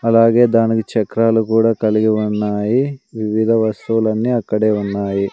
అలాగే దానికి చక్రాలు కూడా కలిగి ఉన్నాయి వివిధ వస్తువులన్నీ అక్కడే ఉన్నాయి.